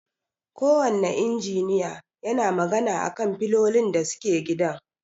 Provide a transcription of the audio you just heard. Ko wanne injiniya yana magana a kan filolin da suke gidan.